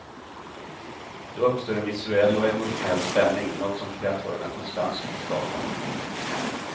Då uppstår en visuell och emotionell spänning, något som kreatörerna konstant söker skapa.